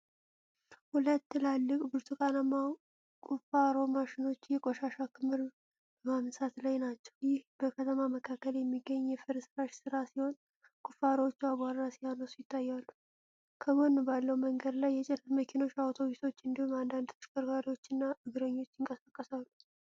ሁለት ትላልቅ ብርቱካናማ ቁፋሮ ማሽኖች የቆሻሻ ክምር በማንሳት ላይ ናቸው። ይህ በከተማ መካከል የሚገኝ የፍርስራሽ ሥራ ሲሆን፣ ቁፋሮዎቹ አቧራ ሲያነሱ ይታያል። ከጎን ባለው መንገድ ላይ የጭነት መኪኖች፣ አውቶቡሶች እንዲሁም አንዳንድ ተሽከርካሪዎች እና እግረኞች ይንቀሳቀሳሉ።